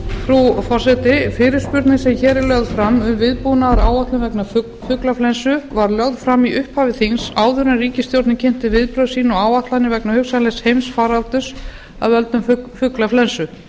frú forseti fyrirspurnin sem hér er lögð fram um viðbúnaðaráætlun vegna fuglaflensu var lögð fram í upphafi þings áður en ríkisstjórnin kynnti viðbrögð sín og áætlanir vegna hugsanlegs heimsfaraldurs af völdum fuglaflensu